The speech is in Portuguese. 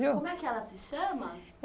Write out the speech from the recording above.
viu? Como é que ela se chama?